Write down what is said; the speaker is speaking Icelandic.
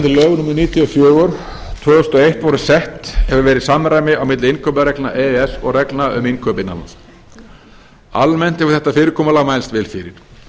níutíu og fjögur tvö þúsund og eitt voru sett hefur verið samræmi á milli innkaupareglna e e s og reglna um innkaup innan lands almennt hefur þetta fyrirkomulag mælst vel fyrir